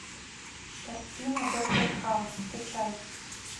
картина доктор хаус скачай